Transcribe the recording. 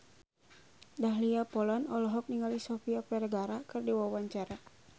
Dahlia Poland olohok ningali Sofia Vergara keur diwawancara